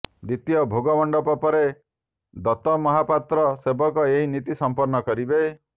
ଦ୍ୱିତୀୟ ଭୋଗମଣ୍ଡପ ପରେ ଦତମହାପାତ୍ର ସେବକ ଏହି ନୀତି ସମ୍ପନ୍ନ କରିବେ